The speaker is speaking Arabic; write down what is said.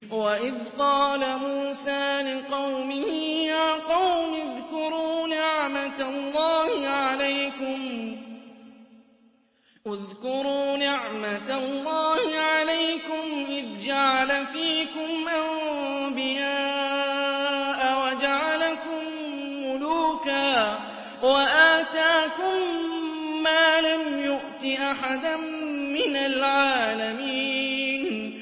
وَإِذْ قَالَ مُوسَىٰ لِقَوْمِهِ يَا قَوْمِ اذْكُرُوا نِعْمَةَ اللَّهِ عَلَيْكُمْ إِذْ جَعَلَ فِيكُمْ أَنبِيَاءَ وَجَعَلَكُم مُّلُوكًا وَآتَاكُم مَّا لَمْ يُؤْتِ أَحَدًا مِّنَ الْعَالَمِينَ